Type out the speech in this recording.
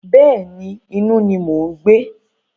Bẹ́ẹ̀ni, inú ni mò ń gbé.